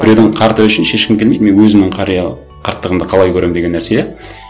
біреудің қарты үшін шешкім келмейді мен өзімнің қарттығымды қалай көремін деген нәрсе иә